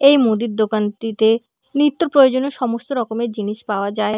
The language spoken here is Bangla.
এই মুদির দোকানটিতে নিত্য প্রয়োজনীয় সমস্ত রকমের জিনিস পাওয়া যায়।